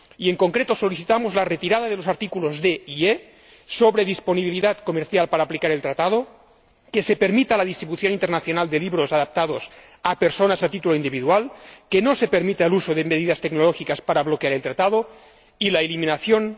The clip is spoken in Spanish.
En concreto, solicitamos la retirada de los considerandos D y E sobre disponibilidad comercial para aplicar el Tratado, que se permita la distribución internacional de libros adaptados a personas a título individual, que no se permita el uso de medidas tecnológicas para bloquear el Tratado, y la eliminación del considerando J sobre medidas voluntarias.